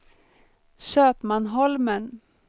Köpmanholmen